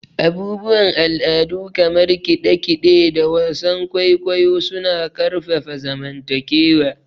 Abubuwan al'adu kamar kide-kide da wasan kwaikwayo suna ƙarfafa zamantakewa.